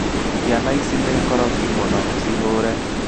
ciana ici nĩ ngorokĩ mũno, cĩhũre